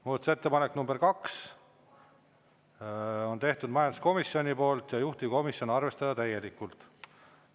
Muudatusettepanek nr 2 on tehtud majanduskomisjoni poolt ja juhtivkomisjon: arvestada täielikult.